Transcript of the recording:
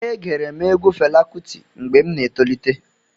E gere m egwu Fela Kuti mgbe m na-etolite.